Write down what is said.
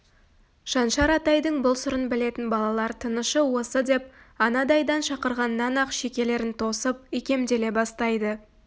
шаншар атайдың бұл сырын білетін балалар тынышы осы деп анадайдан шақырғаннан-ақ шекелерін тосып икемделе бастайды